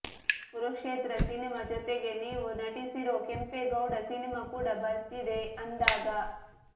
Kurukshetra cinema ಜೊತೆಗೆ ನೀವು ನಟಿಸಿರೋ ಕೆಂಪೇಗೌಡ ಸಿನಿಮಾ ಕೂಡ ಬರ್ತಿದೆ ಅಂದಾಗ